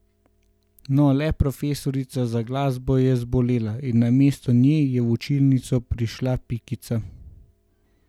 No, le profesorica za glasbo je zbolela in namesto nje je v učilnico prišla Pikica.